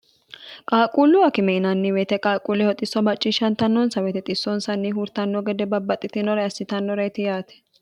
qaaqquullu akime yinanni woyite qaaqquulleho xisso macciishshantannonsa woyte xissonsanni huurtanno gede babbaxxitinore assitannoreti yaate